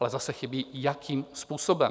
Ale zase chybí, jakým způsobem.